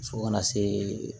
Fo kana se